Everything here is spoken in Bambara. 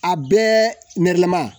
A bɛɛ nɛrɛlama